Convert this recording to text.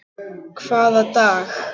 Hvaða dag?